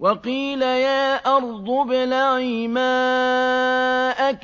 وَقِيلَ يَا أَرْضُ ابْلَعِي مَاءَكِ